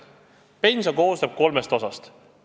Pension koosneb kolmest osast.